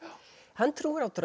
hann trúir á drauga